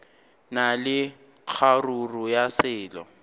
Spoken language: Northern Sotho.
na le kgaruru ya selo